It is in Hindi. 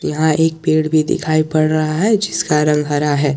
यहां एक पेड़ भी दिखाई पड़ रहा है जिसका रंग हरा है।